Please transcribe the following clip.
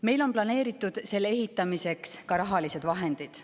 Meil on selle ehitamiseks planeeritud ka rahalised vahendid.